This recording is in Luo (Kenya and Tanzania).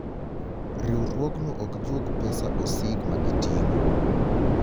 Riwruogno ok juog pesa osig magiti'ngo.